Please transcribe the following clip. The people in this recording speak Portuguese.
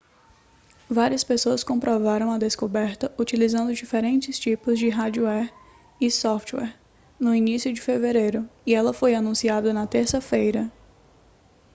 várias pessoas comprovaram a descoberta utilizando diferentes tipos de hardware e software no início de fevereiro e ela foi anunciada na terça-feira